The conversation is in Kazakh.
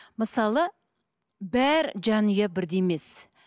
мысалы бар жанұя бірде емес